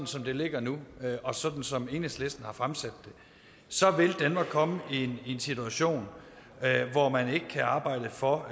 som det ligger nu og sådan som enhedslisten har fremsat det så vil danmark komme i en situation hvor man ikke kan arbejde for